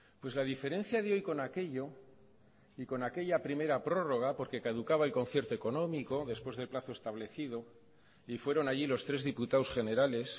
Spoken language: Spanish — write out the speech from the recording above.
pues la diferencia de hoy con aquello y con aquella primera prórroga porque caducaba el concierto económico después del plazo establecido y fueron allí los tres diputados generales